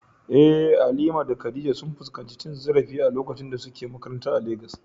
Eh, Halima da Khadija sun fuskanci cin zarafi a lokacin da suke makaranta a Legas.